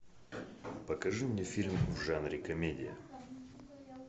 покажи мне фильм в жанре комедия